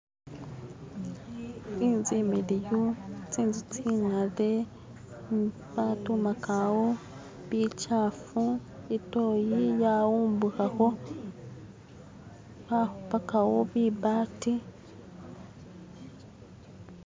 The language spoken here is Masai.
Inzu imiliyu, zinzu zinkade badumagawo bikyafu itoyi yawumbukako bakubagawo bibbati.